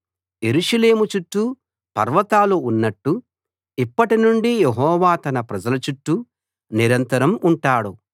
యెరూషలేము చుట్టూ పర్వతాలు ఉన్నట్టు ఇప్పటినుండి యెహోవా తన ప్రజల చుట్టూ నిరంతరం ఉంటాడు